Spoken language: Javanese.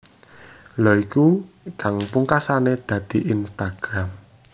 Lha iku kang pungkasane dadi Instagram